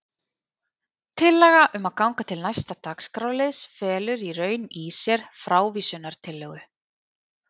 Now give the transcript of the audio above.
Tillaga um að ganga til næsta dagskrárliðs felur í raun í sér frávísunartillögu.